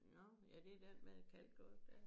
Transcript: Nå er det den med kalk og det